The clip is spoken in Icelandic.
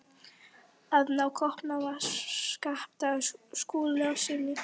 AÐ NÁ KÓPNUM AF SKAPTA SKÚLASYNI.